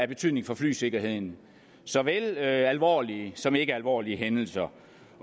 betydning for flysikkerheden såvel alvorlige som ikkealvorlige hændelser